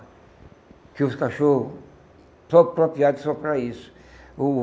Tinha os cachorros só apropriados só para isso. O